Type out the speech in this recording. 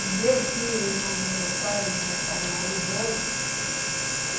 O meu tio e o irmão do meu pai já estavam aí, dois.